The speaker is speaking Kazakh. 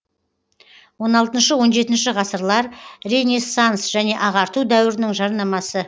он алтыншы он жетінші ғасырлар ренессанс және ағарту дәуірінің жарнамасы